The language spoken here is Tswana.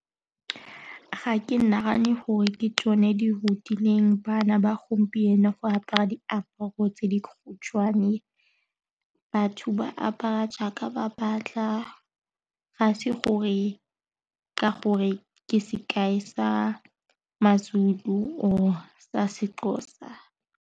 Ga ke nagane gore ke tsone di rutileng bana ba gompieno go apara diaparo tse di khutshwane, batho ba apara a jaaka ba batla gase gore ka gore ke sekai sa maZulu o sa seXhosa.